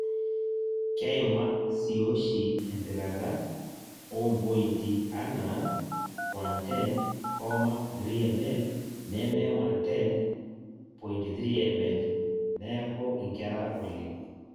Keimak siioshi empikata oompointi anaa (110,3mL neme 110.3mL) neeku inkera oleng'.